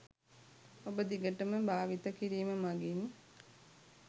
ඔබදිගටම භාවිත කිරීම මගින්